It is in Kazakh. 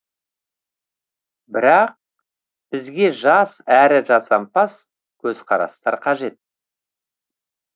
бірақ бізге жас әрі жасампаз көзқарастар қажет